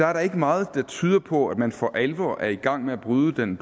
er der ikke meget der tyder på at man for alvor er i gang med at bryde den